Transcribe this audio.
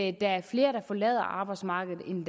er flere der forlader arbejdsmarkedet end